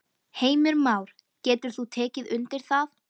Heimir Már: Getur þú tekið undir það?